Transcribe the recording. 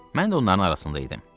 Mən də onların arasında idim.